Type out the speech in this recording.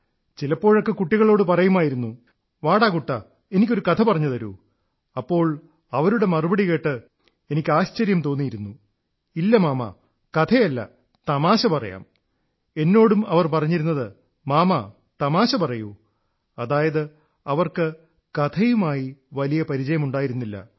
ചിലപ്പോഴൊക്കെ കുട്ടികളോടു പറയുമായിരുന്നു വാടാ കുട്ടാ എനിക്കൊരു കഥ പറഞ്ഞുതരൂ അപ്പോൾ അവരുടെ മറുപടി കേട്ട് എനിക്ക് ആശ്ചര്യം തോന്നിയിരുന്നു ഇല്ല മാമാ കഥയല്ല തമാശ പറയാം എന്നോടും അവർ പറഞ്ഞിരുന്നത് മാമാ തമാശ പറയൂ അതായത് അവർക്ക് കഥയുമായി വലിയ പരിചയമുണ്ടായിരുന്നില്ല